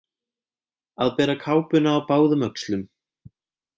Að bera kápuna á báðum öxlum